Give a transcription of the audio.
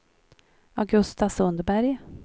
Augusta Sundberg